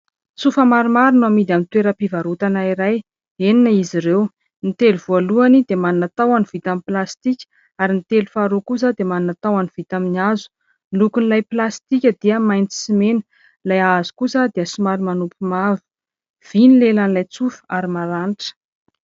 Tsofa maromaro no amidy amin'ny toeram-pivarotana iray. Enina izy ireo. Ny telo voalohany dia manana tahony vita amin'ny plastika ary ny telo faharoa kosa dia manana tahony vita amin'ny hazo. Ny lokon'ilay plastika dia maitso sy mena, ilay hazo kosa dia somary manopy mavo. Vỳ ny lelan'ilay tsofa ary maranitra.